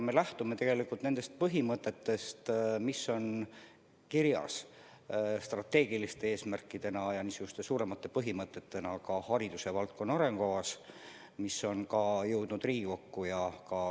Me lähtume nendest põhimõtetest, mis on kirjas strateegiliste eesmärkidena, üldse tähtsaimate põhimõtetena haridusvaldkonna arengukavas, mis on juba jõudnud Riigikokku.